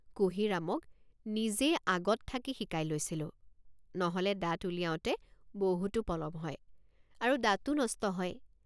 কুঁহিৰামক নিজে আগত থাকি শিকাই লৈছিলোঁ নহলে দাঁত উলিয়াওঁতে বহুতো পলম হয় আৰু দাঁতো নষ্ট হয়।